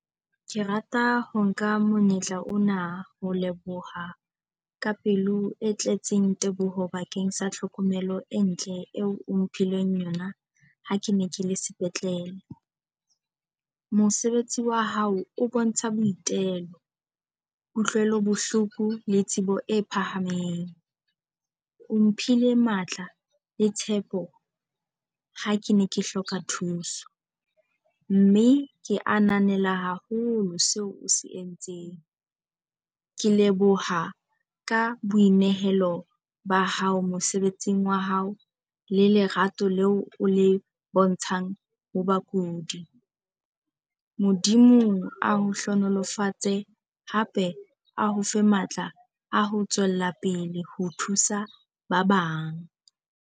Ke rata ho nka monyetla ona ho leboha ka pelo e tletseng teboho bakeng sa hlokomelo e ntle eo o mphileng yona, ha ke ne ke le sepetlele. Mosebetsi wa hao o bontsha boitelo, kutlwelo bohloko le tsebo e phahameng. O mphile matla le tshepo ha ke ne ke hloka thuso, mme ke ananela haholo seo o se entseng. Ke leboha ka boinehelo ba hao mosebetsing wa hao le lerato leo o le bontshang ho bakudi. Modimo a o hlonolofatse hape a o fe matla a ho tswela pele ho thusa ba bang.